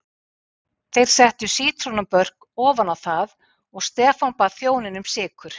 Þeir settu sítrónubörk ofan í það og Stefán bað þjóninn um sykur.